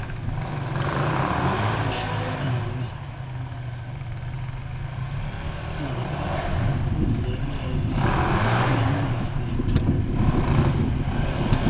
nobuhlakani nabaququzeleli bemisitho